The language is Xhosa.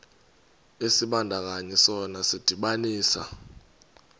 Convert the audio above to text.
isibandakanyi sona sidibanisa